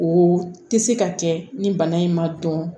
O tɛ se ka kɛ ni bana in ma dɔn